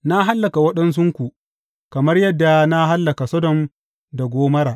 Na hallaka waɗansunku kamar yadda na hallaka Sodom da Gomorra.